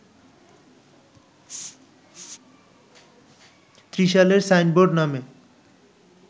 ত্রিশালের signboard নামে